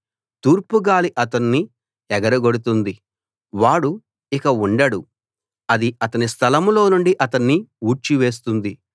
తూర్పు గాలి అతణ్ణి ఎగరగొడుతుంది వాడు ఇక ఉండడు అది అతని స్థలంలో నుండి అతణ్ణి ఊడ్చివేస్తుంది